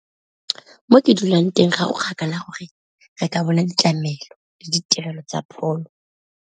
Mo ke dulang teng ga go kgakala gore re ka bona ditlamelo le ditirelo tsa pholo.